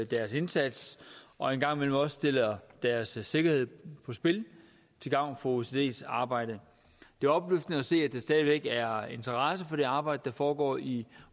deres indsats og en gang imellem også sætter deres sikkerhed på spil til gavn for osces arbejde det er opløftende at se at der stadig væk er interesse for det arbejde der foregår i